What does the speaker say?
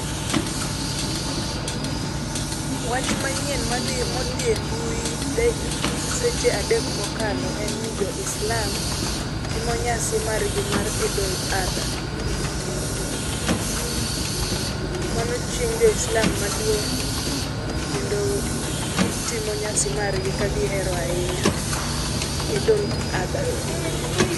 Wach manyien madhi modhie embui be seche adek mokalo enni joislam timo nyasigi mar idul alba. Mano chieng' joislam maduong' kendoo kitimo nyasi margi ka gihero ahinya idul alba.